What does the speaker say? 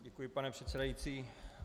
Děkuji, pane předsedající.